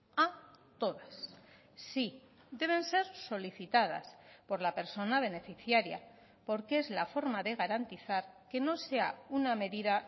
a todas sí deben ser solicitadas por la persona beneficiaria porque es la forma de garantizar que no sea una medida